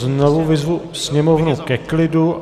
Znovu vyzvu sněmovnu ke klidu!